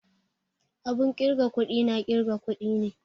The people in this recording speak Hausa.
Abun kirga kuɗi na ƙirga kuɗi ne